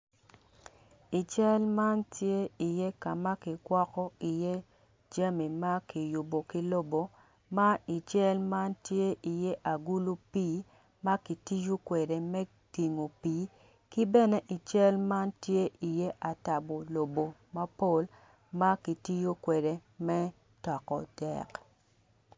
I cal man tye iye ka ma kigwoko iye jami ma kiyubo ki lobo ma i cal man tye iye agulu pii ma kitiyo kwede me tingo pii ki bene i cal man tye iye atabo lobo ma kitiyo kwede me toko dek.